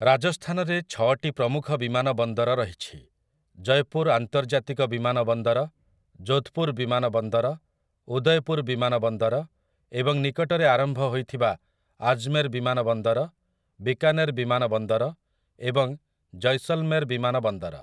ରାଜସ୍ଥାନରେ ଛଅଟି ପ୍ରମୁଖ ବିମାନ ବନ୍ଦର ରହିଛି, ଜୟପୁର୍ ଆନ୍ତର୍ଜାତିକ ବିମାନ ବନ୍ଦର, ଯୋଧ୍‌ପୁର୍ ବିମାନ ବନ୍ଦର, ଉଦୟପୁର୍ ବିମାନ ବନ୍ଦର ଏବଂ ନିକଟରେ ଆରମ୍ଭ ହୋଇଥିବା ଆଜମେର୍ ବିମାନ ବନ୍ଦର, ବିକାନେର ବିମାନ ବନ୍ଦର ଏବଂ ଜୈସଲ୍‌ମେର୍ ବିମାନ ବନ୍ଦର ।